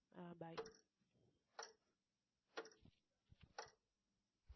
ஆஹ் bye